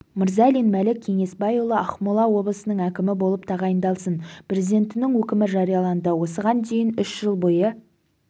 мырзалин мәлік кеңесбайұлы ақмола облысының әкімі болып тағайындалсын президентінің өкімі жарияланды осыған дейін үш жыл бойы